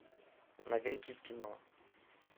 новинки кино